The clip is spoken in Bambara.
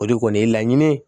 O de kɔni ye laɲini ye